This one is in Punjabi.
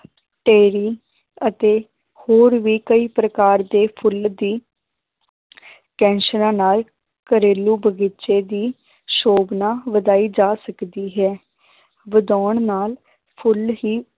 ਅਤੇ ਹੋਰ ਵੀ ਕਈ ਪ੍ਰਕਾਰ ਦੇ ਫੁੱਲ ਦੀ ਕੈਂਸਰਾਂ ਨਾਲ ਘਰੇਲੂ ਬਗ਼ੀਚੇ ਦੀ ਸੋਭਨਾ ਵਧਾਈ ਜਾ ਸਕਦੀ ਹੈ ਵਧਾਉਣ ਨਾਲ ਫੁੱਲ ਹੀ